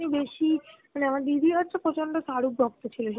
বেশি মানে আমার দিদি হচ্ছে প্রচন্ড শাহরুখ ভক্ত ছিল